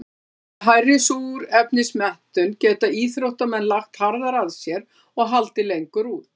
Með hærri súrefnismettun geta íþróttamenn lagt harðar að sér og haldið lengur út.